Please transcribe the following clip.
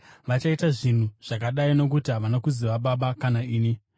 Vachaita zvinhu zvakadai nokuti havana kuziva Baba kana ini.